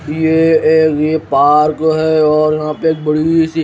ये एक ये पार्क है और यहां पे एक बड़ीसी--